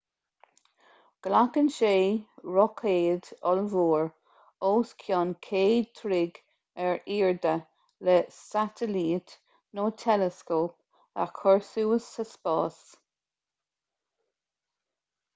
glacann sé roicéad ollmhór os cionn 100 troigh ar airde le satailít nó teileascóp a chur suas sa spás